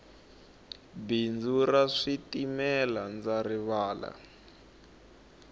bindzu ra switimela ndza rilava